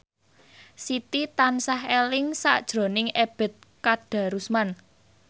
Siti tansah eling sakjroning Ebet Kadarusman